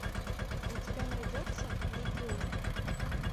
у тебя найдется легион